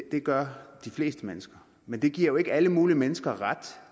det gør de fleste mennesker men det giver jo ikke alle mulige mennesker ret